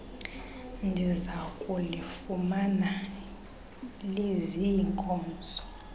ndiza kulifumana liziinkozo